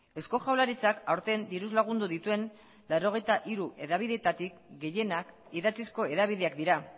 eusko jaurlaritzak aurten diruz lagundu dituen laurogeita hiru hedabideetatik gehienak idatzizko hedabideak dira